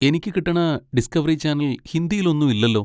എനിക്ക് കിട്ടണ Discovery channel ഹിന്ദിയിൽ ഒന്നും ഇല്ലല്ലോ.